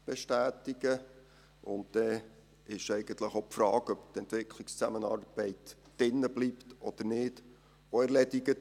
Dann ist die Frage, ob die Entwicklungszusammenarbeit drin bleibt, auch erledigt: